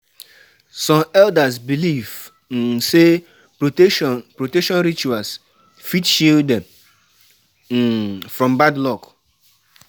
Young pipo dey curious about charms, curious about charms, but dem no sure wetin to um believe.